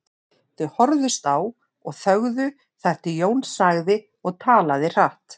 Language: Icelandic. Þau horfðust á og þögðu þar til Jón sagði og talaði hratt